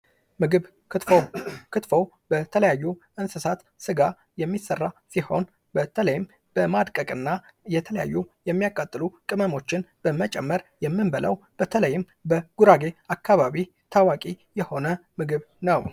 ምግብ ክትፎ ክትፎ በተለያዩ እንስሳት ስጋ የሚሰራ ሲሆን በተለይም በማድቀቅና የተለያዩ የሚያቃጥሉ ቅመሞችን በመጨመር የምንበላው በተለይም በጉራጌ አካባቢ ታዋቂ የሆነ ምግብ ነው።